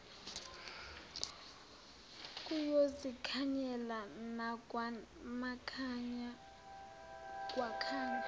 kuyozikhanyela nakwamakhanya kwakhanya